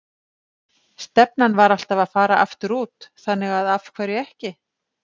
Stefnan var alltaf að fara aftur út, þannig að af hverju ekki?